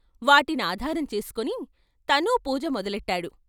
వాటి నాధారం చేసుకుని తనూ పూజ మొదలెట్టాడు.